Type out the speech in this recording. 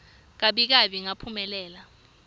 gabi gabi ngaphumelela